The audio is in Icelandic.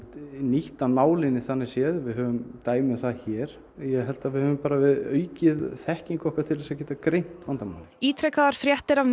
nýtt af nálinni þannig séð við höfum dæmi um það hér ég held að við höfum bara aukið þekkingu okkar til þess að geta greint vandamálið ítrekaðar fréttir af